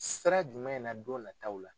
Sira jumɛn na don nataw la.